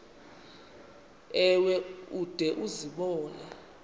ewe ude uzibone